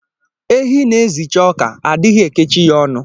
Ehi na-ezicha oka, a dighi ekechi ya ọnụ.